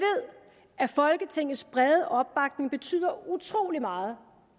at folketingets brede opbakning betyder utroligt meget